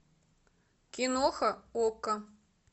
киноха окко